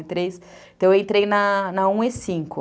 Então, eu entrei na um e cinco